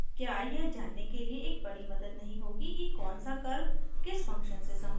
क्या यह जानने के लिए एक बड़ी मदद नहीं होगी कि कौन सा कर्व किस फंक्शन से सम्बद्ध है